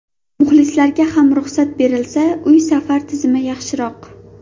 Muxlislarga ham ruxsat berilsa, uy-safar tizimi yaxshiroq.